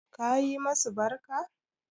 Ka yi masu barka?